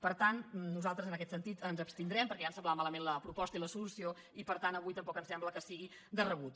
per tant nosaltres en aquest sentit ens abstindrem perquè ja ens semblaven malament la proposta i la solució i per tant avui tampoc ens sembla que sigui de rebut